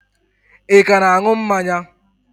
Ị ka na-an̄ụ mmanya?